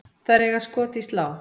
Þær eiga skot í slá.